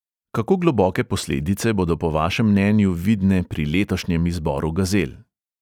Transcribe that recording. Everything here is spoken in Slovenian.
Kako globoke posledice bodo po vašem mnenju vidne pri letošnjem izboru gazel?